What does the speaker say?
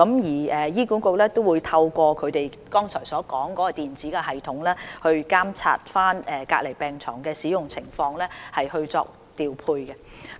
醫管局亦會透過我剛才所說的電子系統，監察隔離病床的使用情況，以作調配。